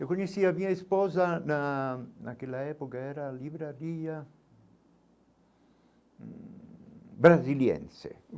Eu conheci a minha esposa na naquela época, era a Livraria hum Brasiliense.